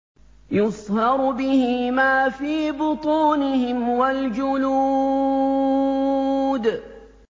يُصْهَرُ بِهِ مَا فِي بُطُونِهِمْ وَالْجُلُودُ